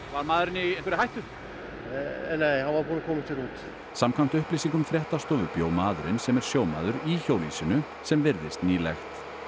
var maðurinn í einhverri hættu nei hann var búinn að koma sér út samkvæmt upplýsingum fréttastofu bjó maðurinn sem er sjómaður í hjólhýsinu sem virðist nýlegt